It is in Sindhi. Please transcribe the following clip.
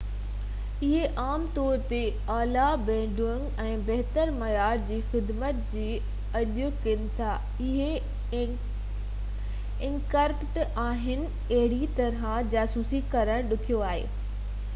اهي عام طور تي اعليٰ بينڊوڊٽ ۽ بهتر معيار جي خدمت جي آڇ ڪن ٿا. اهي انڪرپٽيڊ آهن ۽ اهڙي طرح جاسوسي ڪرڻ ڏکيو آهي